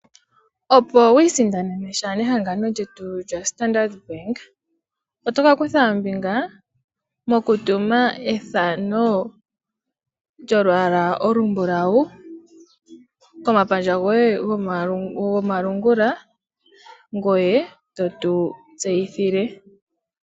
Opo wu isindanena sha nehangano lyetu Standard Bank, oto kakutha ombinga mokutuma ethano lyolwaala olumbulawu, komapandja goye go malungula ngoye totu tseyithile.